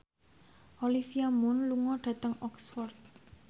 Olivia Munn lunga dhateng Oxford